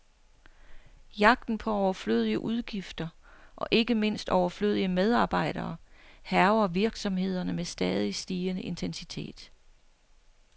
Jagten på overflødige udgifter, og ikke mindst overflødige medarbejdere, hærger virksomhederne med stadig stigende intensitet.